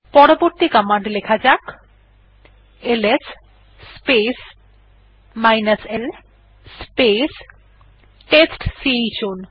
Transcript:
পরবর্তী কমান্ড লেখা যাক এলএস স্পেস l স্পেস টেস্টচাউন